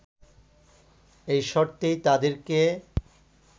এই শর্তেই তাদেরকে